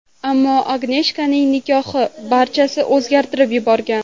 Ammo Agneshkaning nikohi barchasini o‘zgartirib yuborgan.